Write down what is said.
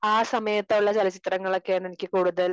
ആ സമയത്തുള്ള ചലച്ചിത്രങ്ങൾ ഒക്കെ ആണ് എനിക്ക് കൂടുതൽ